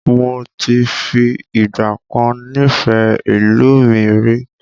Moti fi ìgbàkan nifẹ ìlú mi rí